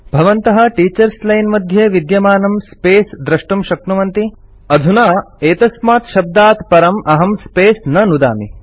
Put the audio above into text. भवन्तः teachers line मध्ये विद्यमानं स्पेस् दृष्टुं शक्नुवन्ति अधुना एतस्मात् शब्दात् परमहं स्पेस् न नुदामि